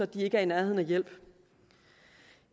de ikke er i nærheden af hjælp